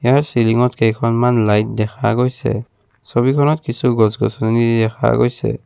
ইয়াৰ চিলঙত কেইখনমান লাইট দেখা গৈছে ছবিখনত কিছু গছ-গছনি দেখা গৈছে।